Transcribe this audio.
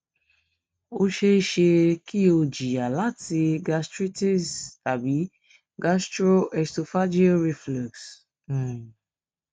o ṣee ṣe ki o jiya lati gastritis tabi gastro esophageal reflux um